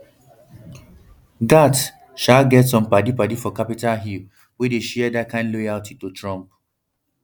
gaetz sha um get some padipadi for capitol hill wey dey share dat kain loyalty to trump